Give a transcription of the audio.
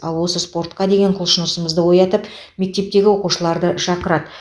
ал осы спортқа деген құлшынысымызды оятып мектептегі оқушыларды шақырады